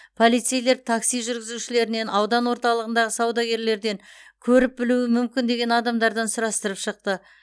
полицейлер такси жүргізушілерінен аудан орталығындағы саудагерлерден көріп білуі мүмкін деген адамдардан сұрастырып шықты